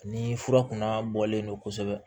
Ni fura kunna bɔlen don kosɛbɛ